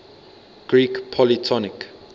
greek polytonic